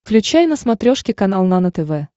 включай на смотрешке канал нано тв